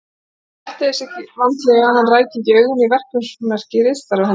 Hún gætti þess vandlega að hann ræki ekki augun í verksummerki ritstarfa hennar.